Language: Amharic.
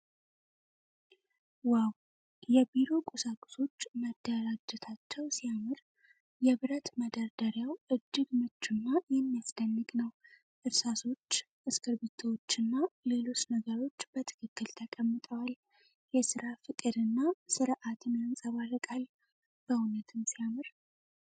ዋው! የቢሮ ቁሳቁሶች መደራጀታቸው ሲያምር። የብረት መደርደሪያው እጅግ ምቹና የሚያስደንቅ ነው። እርሳሶች፣ እስክሪብቶዎችና ሌሎች ነገሮች በትክክል ተቀምጠዋል። የሥራ ፍቅር እና ስርዓትን ያንጸባርቃል። በእውነትም ሲያምር!